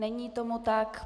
Není tomu tak.